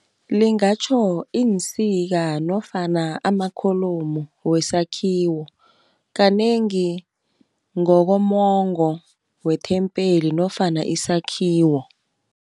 Lingatjho iinsika nofana amakholomu wesakhiwo, kanengi ngokomongo wethempeli nofana isakhiwo.